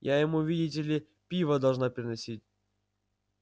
я ему видите ли пиво должна приносить